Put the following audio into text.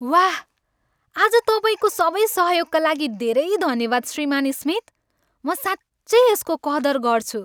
वाह, आज तपाईँको सबै सहयोगका लागि धेरै धन्यवाद, श्रीमान् स्मिथ। म साँच्चै यसको कदर गर्छु!